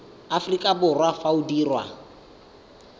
aforika borwa fa o dirwa